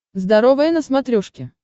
здоровое на смотрешке